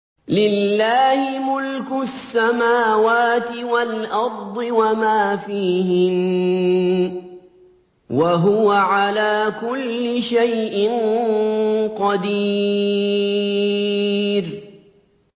لِلَّهِ مُلْكُ السَّمَاوَاتِ وَالْأَرْضِ وَمَا فِيهِنَّ ۚ وَهُوَ عَلَىٰ كُلِّ شَيْءٍ قَدِيرٌ